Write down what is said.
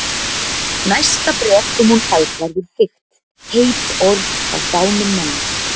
Næsta bréf sem hún fær verður þykkt, heit orð frá dánum manni.